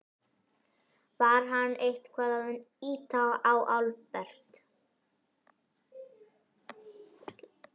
Var hann eitthvað að ýta á Albert?